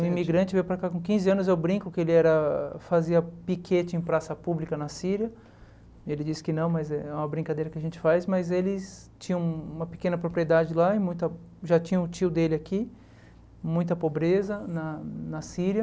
Ele é um imigrante, veio para cá com quinze anos, eu brinco que ele era fazia piquete em praça pública na Síria, ele disse que não, mas é uma brincadeira que a gente faz, mas eles tinham uma pequena propriedade lá, e muita já tinha o tio dele aqui, muita pobreza na Síria,